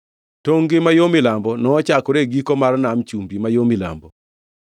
Tongʼ-gi ma yo milambo nochakore e giko mar Nam Chumbi ma yo milambo,